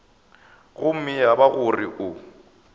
gomme ya ba gore o